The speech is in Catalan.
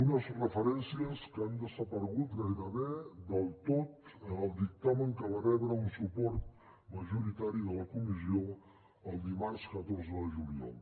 unes referències que han desaparegut gairebé del tot en el dictamen que va rebre un suport majoritari de la comissió el dimarts catorze de juliol